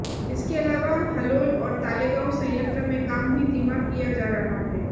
इसके अलावा हलोल और तालेगांव संयंत्र में काम भी धीमा किया जा रहा है